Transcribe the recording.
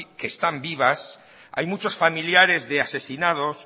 que están vivas hay muchos familiares de asesinados